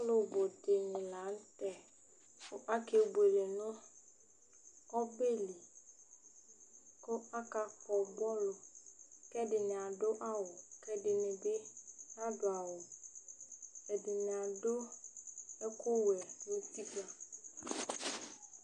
Alevi dìní la ntɛ Akebʋele nʋ ɔbɛli kʋ akakpɔ bɔlʋ kʋ ɛdiní adu awu Ɛdiní bi nadu awu Ɛdiní adu ɛku wɛ